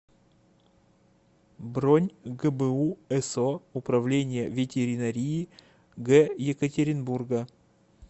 бронь гбу со управление ветеринарии г екатеринбурга